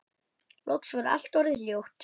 Loks var allt orðið hljótt.